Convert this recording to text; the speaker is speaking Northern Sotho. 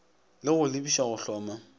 le go lebiša go hloma